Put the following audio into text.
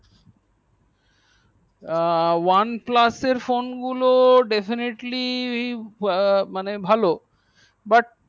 আ oneplus এর phone গুলি definitly মানে ভালো but